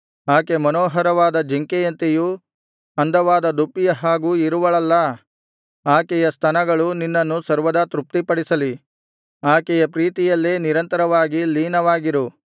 ಆಕೆ ಮನೋಹರವಾದ ಜಿಂಕೆಯಂತೆಯೂ ಅಂದವಾದ ದುಪ್ಪಿಯ ಹಾಗೂ ಇರುವಳಲ್ಲಾ ಆಕೆಯ ಸ್ತನಗಳು ನಿನ್ನನ್ನು ಸರ್ವದಾ ತೃಪ್ತಿಪಡಿಸಲಿ ಆಕೆಯ ಪ್ರೀತಿಯಲ್ಲೇ ನಿರಂತರವಾಗಿ ಲೀನವಾಗಿರು